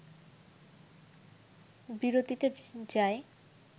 বিরতিতে যায়